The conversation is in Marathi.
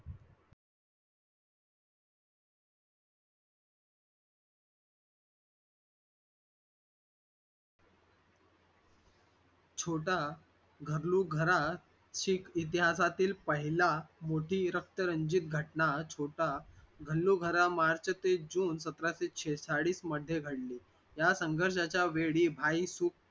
छोटा घरो घरा चे इतिहासातील पहिला मोठा रक्तरंजित घटना छोटा घरोघरा मार्च ते जुन सतराशे सेहेचाळीस मध्ये घडली या संघर्ष्याचा वेळी भाई सुख